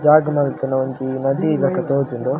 ಜಾಗ್ ಮನ್ಪುನ ಒಂಜಿ ನದಿ ಲಕ ತೊಜುಂಡು.